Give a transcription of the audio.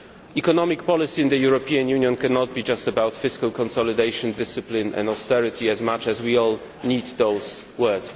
Economic policy in the European Union cannot be just about fiscal consolidation, discipline and austerity, much as we all need those words.